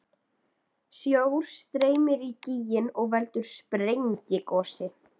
Sjór streymir í gíginn og veldur sprengigosi.